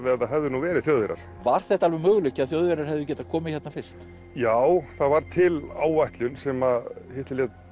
ef það hefðu nú verið Þjóðverjar var þetta alveg möguleiki að Þjóðverjar hefðu getað komið hérna fyrst já það var til áætlun sem Hitler lét